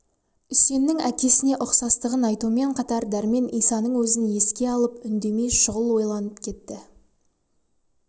үсеннің әкесіне ұқсастығын айтумен қатар дәрмен исаның өзін еске алып үндемей шұғыл ойланып кетті